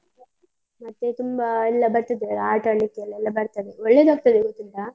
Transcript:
ಮತ್ತೆ ತುಂಬ ಎಲ್ಲ ಬರ್ತದೆ, ಆಟ ಆಡ್ಲಿಕ್ಕೆ ಎಲ್ಲ ಬರ್ತದೆ, ಒಳ್ಳೆದಾಗ್ತದೆ ಗೊತ್ತುಂಟಾ?